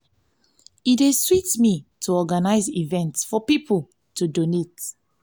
e dey sweet me to help organize events for people to donate.